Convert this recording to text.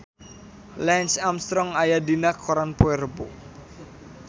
Lance Armstrong aya dina koran poe Rebo